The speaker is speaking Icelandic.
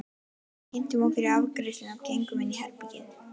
Við kynntum okkur í afgreiðslunni og gengum inn í herbergið.